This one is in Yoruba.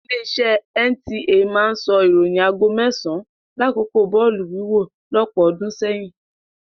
Ilé-iṣẹ́ NTA máa ń sọ ìròyìn aago mẹ́sàn-an lákòókò bọ́ọ̀lù wíwọ̀ lọ́pọ̀ ọdún sẹ́yìn.